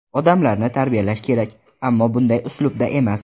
Odamlarni tarbiyalash kerak, ammo bunday uslubda emas.